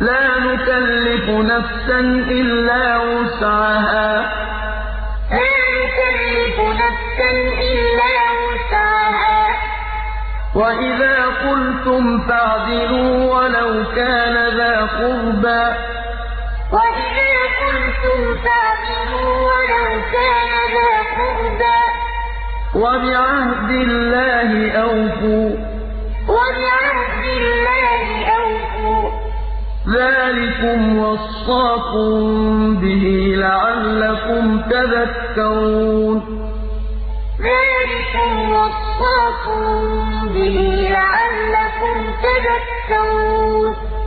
لَا نُكَلِّفُ نَفْسًا إِلَّا وُسْعَهَا ۖ وَإِذَا قُلْتُمْ فَاعْدِلُوا وَلَوْ كَانَ ذَا قُرْبَىٰ ۖ وَبِعَهْدِ اللَّهِ أَوْفُوا ۚ ذَٰلِكُمْ وَصَّاكُم بِهِ لَعَلَّكُمْ تَذَكَّرُونَ وَلَا تَقْرَبُوا مَالَ الْيَتِيمِ إِلَّا بِالَّتِي هِيَ أَحْسَنُ حَتَّىٰ يَبْلُغَ أَشُدَّهُ ۖ وَأَوْفُوا الْكَيْلَ وَالْمِيزَانَ بِالْقِسْطِ ۖ لَا نُكَلِّفُ نَفْسًا إِلَّا وُسْعَهَا ۖ وَإِذَا قُلْتُمْ فَاعْدِلُوا وَلَوْ كَانَ ذَا قُرْبَىٰ ۖ وَبِعَهْدِ اللَّهِ أَوْفُوا ۚ ذَٰلِكُمْ وَصَّاكُم بِهِ لَعَلَّكُمْ تَذَكَّرُونَ